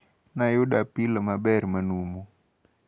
Nayudo apilo maber manumu.